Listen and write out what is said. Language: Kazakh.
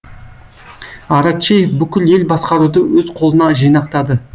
аракчеев бүкіл ел басқаруды өз қолына жинақтады